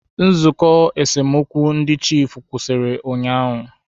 Nzụkọ esemokwu ndị chiefụ kwụsịrị ụnyaahụ.